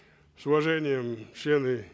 с уважением члены